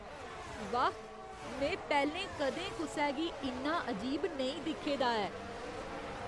वाह् ! में पैह्‌लें कदें कुसै गी इन्ना अजीब नेईं दिक्खे दा ऐ!